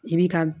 I b'i ka